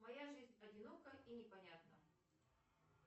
моя жизнь одинока и непонятна